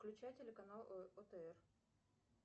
включай телеканал отр